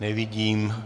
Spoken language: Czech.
Nevidím.